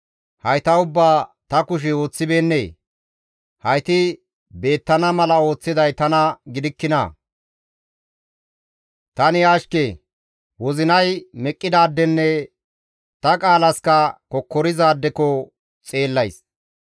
Hayta ubbaa ta kushey ooththibeennee? Hayti beettana mala ooththiday tana gidikkinaa? Tani ashke; wozinay meqqidaadenne ta qaalaska kokkorizaadeko ta xeellays.